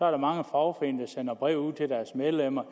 er mange fagforeninger der sender breve ud til deres medlemmer